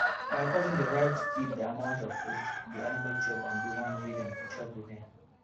my cousin dey write kip the amount of food the animal chop and the one wey dem chop remain